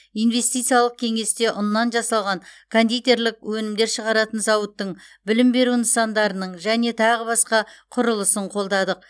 инвестициялық кеңесте ұннан жасалған кондитерлік өнімдер шығаратын зауыттың білім беру нысандарының және тағы басқа құрылысын қолдадық